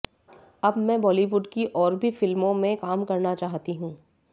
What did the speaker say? अब मैं बॉलीवुड की और भी फिल्मों में काम करना चाहती हूं